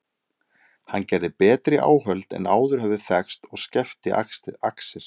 Hann gerði betri áhöld en áður höfðu þekkst og skefti axir.